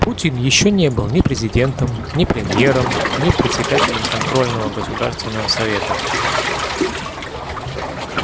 путин ещё не был ни президентом ни премьером ни председателем контрольного государственного совета